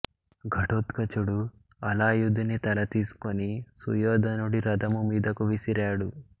ఘటోత్కచుడు అలాయుధుని తల తీసుకుని సుయోధనుడి రథము మీదకు విసిరాడు